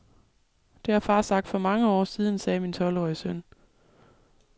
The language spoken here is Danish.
Det har far sagt for mange år siden, sagde min tolvårige søn.